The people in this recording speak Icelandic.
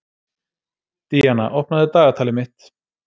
Díanna, opnaðu dagatalið mitt.